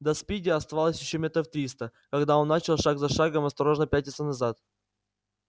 до спиди оставалось ещё метров триста когда он начал шаг за шагом осторожно пятиться назад